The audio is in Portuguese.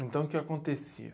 Então, o que acontecia?